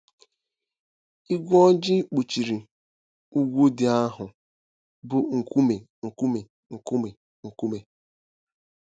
Ígwé ojii kpuchiri ugwu ndị ahụ bụ́ nkume nkume. nkume nkume.